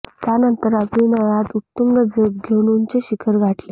त्यानंतर अभिनयात उत्तुंग झेप घेऊन उंच शिखर गाठले